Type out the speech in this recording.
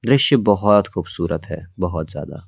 दृश्य बहुत खूबसूरत है बहुत ज्यादा--